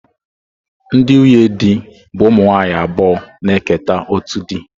Ndị nwunye di bụ ụmụ nwanyị abụọ na-eketa otu di.